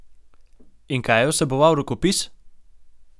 In kaj je vseboval rokopis?